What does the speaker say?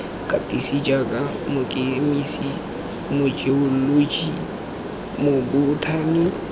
katisiwa jaaka mokemise mojeoloji mobothani